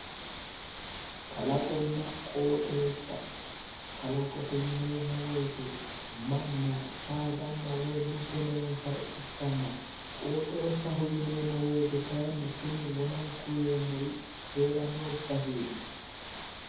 Kalaqonna qooxeessa, kalaqote yineemmo woyte manna saada woy lubbo noonsare ikkanna, qooxeessaho yineemmo woyte kayiinni kuni wonankunni yeemmori hee'ranno baseeti.